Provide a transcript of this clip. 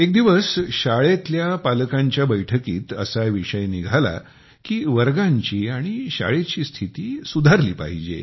एक दिवस शाळेतल्या पालकांच्या बैठकीत असा विषय निघाला की वर्गांची आणि शाळेची स्थिती सुधारली पाहिजे